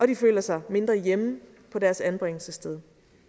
de føler som mindre hjemme på deres anbringelsessteder